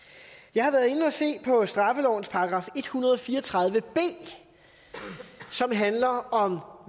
jeg har været inde at se på straffelovens § en hundrede og fire og tredive b som handler om